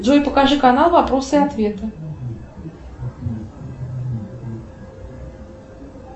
джой покажи канал вопросы и ответы